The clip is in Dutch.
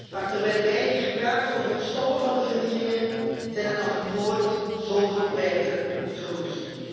Maar terwijl wij hier praten over het stoppen van de vernielingen zijn er nog nooit zoveel projecten verwoest.